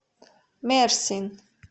мерсин